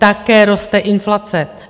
Také roste inflace!